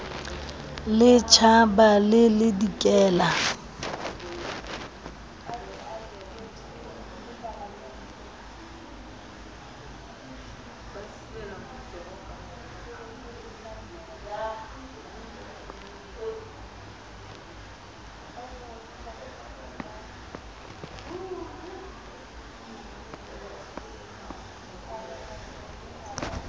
le tjhabang le le dikelang